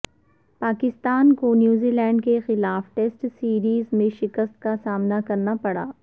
پاکستان کو New Zealand کے خلاف ٹیسٹ سیریز میں شکست کا سامنا کرنا پڑا